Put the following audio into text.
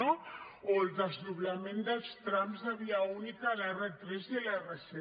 no o el desdoblament dels trams de via única a l’r3 i a l’r7